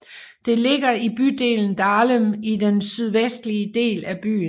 Det ligger i bydelen Dahlem i den sydvestlige del af byen